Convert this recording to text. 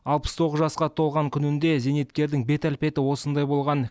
алпыс тоғыз жасқа толған күнінде зейнеткердің бет әлпеті осындай болған